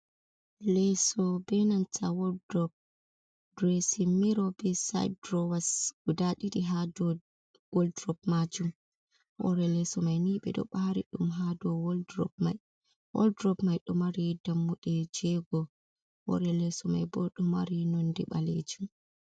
Leeso benanta waldrop, diresin miro, be sit durowas guda ɗiɗi ha do waldrop majum. Hore leso mai ni ɓe ɗo ɓari ɗum. Ha dow woldrob mai ɗo mari dammuɗe jego, hore leso mai bo ɗo mari nonde ɓalejum.